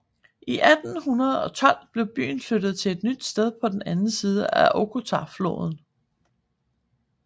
I 1812 blev byen flyttet til et nyt sted på den anden side af Okhotafloden